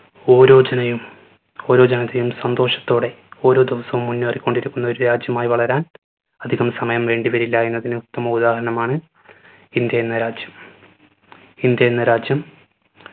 ഓരോചനയും ഓരോജനതയും സന്തോഷത്തോടെ ഓരോ ദിവസം മുന്നേറിക്കൊണ്ടിരിക്കുന്നു ഒരു രാജ്യമായി വളരാൻ അധികം സമയം വേണ്ടിവരില്ല എന്നതിന് ഉത്തമ ഉദാഹരണമാണ് ഇന്ത്യ എന്ന രാജ്യം ഇന്ത്യ എന്ന രാജ്യം